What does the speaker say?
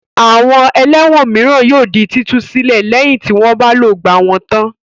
Àwọn ẹlẹ́wọ̀n mìíràn yóò di títú sílẹ̀ lẹ́yìn tí wọ́n bá ti lògbà wọn tán.